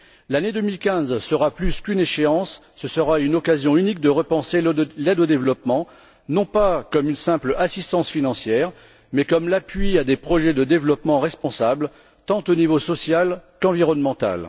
L'année 2015 sera plus qu'une échéance, ce sera une occasion unique de repenser l'aide au développement, non pas comme une simple assistance financière, mais comme un appui à des projets de développement responsables au niveau tant social qu'environnemental.